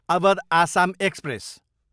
Awadh Assam express